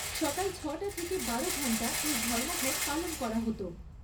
সকাল ছয় টা থেকে বারো ঘণ্টা এই ধর্মঘট পালন করা হত।